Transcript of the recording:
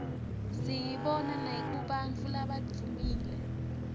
siyibona nakubantfu labadvumile